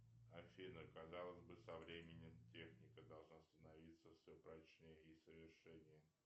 афина казалось бы со временем техника должна становиться все прочнее и совершеннее